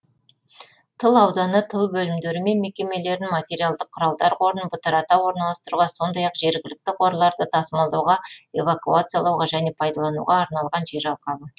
тыл ауданы тыл бөлімдері мен мекемелерін материалдық құралдар қорын бытырата орналастыруға сондай ақ жергілікті қорларды тасымалдауға эвакуациялауға және пайдалануға арналған жер алқабы